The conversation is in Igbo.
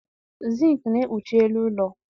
Zink na-ekpuchi elu ụlọ.